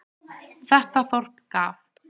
Þetta þorp gaf